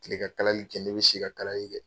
Kile ka kalali kɛ , ne bi si ka kalali kɛ.